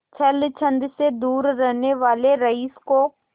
छल छंद से दूर रहने वाले रईस को